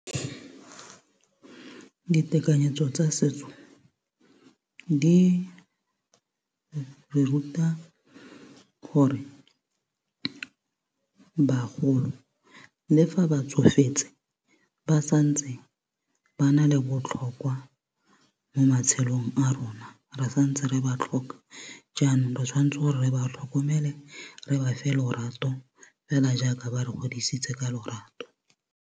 Ditekanyetso tsa setso di re ruta gore bagolo le fa ba tsofetse ba santse ba na le botlhokwa mo matshelong a rona re santse re ba tlhoka jaanong re tshwanetse gore re ba tlhokomele re ba fe lorato fela jaaka ba re godisitse ka lorato.